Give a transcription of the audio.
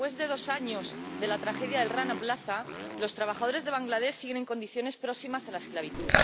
Después de dos años de la tragedia del Rana Plaza, los trabajadores de Bangladés siguen en condiciones próximas a la esclavitud.